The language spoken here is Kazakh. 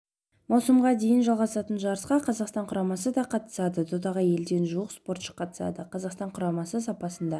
маусымға дейін жалғасатын жарысқа қазақстан құрамасы да қатысады додаға елден жуық спортшы қатысады қазақстан құрамасы сапында